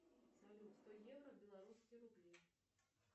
салют сто евро в белорусские рубли